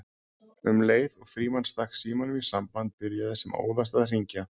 Um leið og Frímann stakk símanum í samband byrjaði sem óðast að hringja